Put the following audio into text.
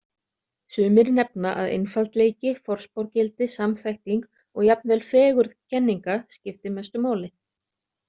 Sumir nefna að einfaldleiki, forspárgildi, samþætting og jafnvel fegurð kenninga skipti mestu máli.